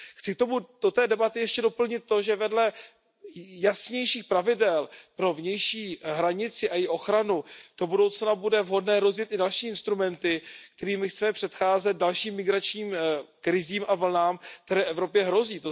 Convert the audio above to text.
Chci do té debaty ještě doplnit to, že vedle jasnějších pravidel pro vnější hranici a její ochranu do budoucna bude vhodné rozjet i další instrumenty, kterými chceme předcházet dalším migračním krizím a vlnám, které Evropě hrozí.